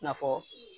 I na fɔ